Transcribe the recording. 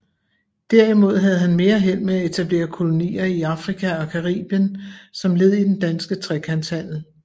Derimod havde han mere held med at etablere kolonier i Afrika og Caribien som led i den danske trekantshandel